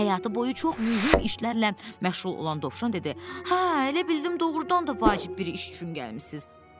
"Həyatı boyu çox mühüm işlərlə məşğul olan Dovşan dedi, "Hə, elə bildim doğrudan da vacib bir iş üçün gəlmisiz."